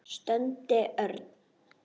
stundi Örn.